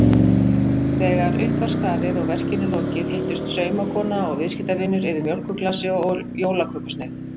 Þegar upp var staðið og verkinu lokið hittust saumakona og viðskiptavinur yfir mjólkurglasi og jólakökusneið.